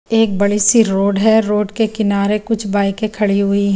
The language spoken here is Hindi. एक बड़े सी रोड है रोड के किनारे कुछ बाइके खड़ी हुई है ।